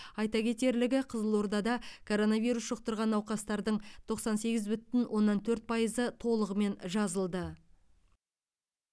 айта кетерлігі қызылордада коронавирус жұқтырған науқастардың тоқсан сегіз бүтін оннан төрт пайызы толығымен жазылды